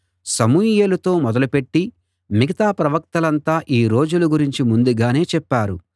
సమూయేలుతో మొదలుపెట్టి మిగతా ప్రవక్తలంతా ఈ రోజుల గురించి ముందుగానే చెప్పారు